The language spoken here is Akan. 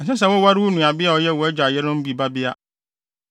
“ ‘Ɛnsɛ sɛ woware wo nuabea a ɔyɛ wʼagya yerenom bi babea.